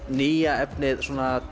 nýja efnið